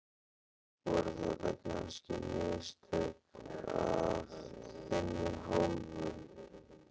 Voru þetta kannski mistök af þinni hálfu?